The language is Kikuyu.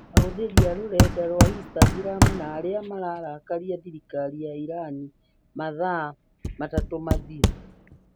Ahũthĩri a rũrenda rwa Instagram na arĩa mararakaria thirikari ya Iran mathaa matatũ mathiru